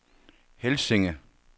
Helsinge